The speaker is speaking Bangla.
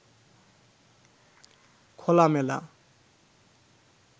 খোলামেলা